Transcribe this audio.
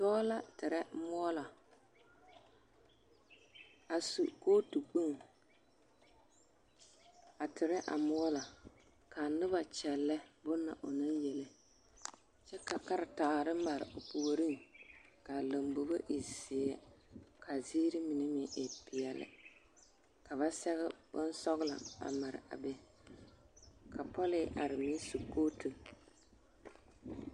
Dɔɔ la terɛ moɔlɔ a su kootu kpoŋ a terɛ a moɔlɔ k'a noba kyɛllɛ bonna onaŋ yele kyɛ ka karetaare mare o puoriŋ k'a lombobo e zeɛ k'a ziiri mine meŋ e peɛle ka ba sɛge bonsɔgelɔ a mare a be ka pɔlee are meŋ su kootu.